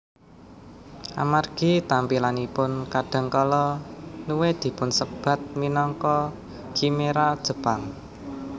Amargi tampilanipun kadang kala Nue dipunsebat minangka khimera Jepang